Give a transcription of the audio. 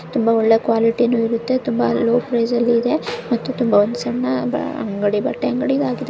ತುಂಬಾ ಒಳ್ಳೆಯ ಕ್ವಾಲಿಟಿನೂ ಕೂಡ ಇರುತ್ತೆ ಮತ್ತೆ ತುಂಬಾ ಲೋ ಪ್ರೈಜ್ ಅಲ್ಲೂ ಇದೆ. ಮತ್ತು ತುಂಬಾ ಒಂದು ಸಣ್ಣ ಅಂಗಡಿ ಬಟ್ಟೆ ಅಂಗಡಿ ಇದಾಗಿದೆ.